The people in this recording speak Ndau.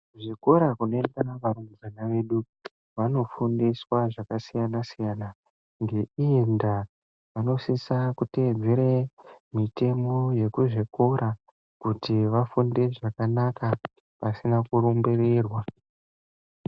Zvikora kunoenda varumbwana vedu, vanofundiswa zvakasiyana-siyana. Ngeiyi ndaa, vanosise kuteedzere mitemo ye kuzvikora, kuti vafunde zvakanaka pasina kurumbirirwa.